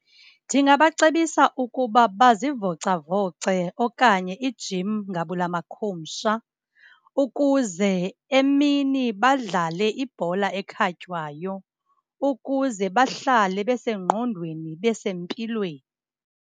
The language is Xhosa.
Ndingabacebisa ukuba bazivocavoce okanye i-gym, ngabula makhumsha, ukuze emini badlale ibhola ekhatywayo. Ukuze bahlale besengqondweni, besempilweni.